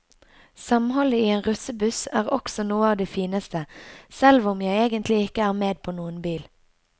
Samholdet i en russebuss er også noe av det fineste, selv om jeg egentlig ikke er med på noen bil.